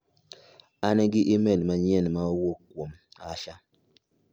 An gi imel manyien ma owuok kuom Asha.